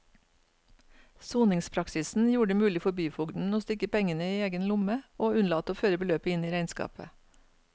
Soningspraksisen gjorde det mulig for byfogden å stikke pengene i egen lomme og unnlate å føre beløpet inn i regnskapet.